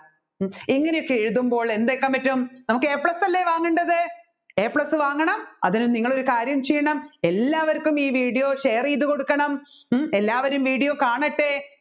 ഇങ്ങനെയൊക്കെ എഴുതുന്നപ്പോൾ എന്താകാൻ പാട്ടും നമ്മുക്ക് A plus അല്ലെ വാങ്ങേണ്ടത് A plus വാങ്ങണം അതിന് നിങ്ങൾ ഒരു കാര്യം ചെയ്യണം എല്ലാവര്ക്കും ഈ videoshare ചെയ്തു കൊടുക്കണം എല്ലാവരും video കാണട്ടെ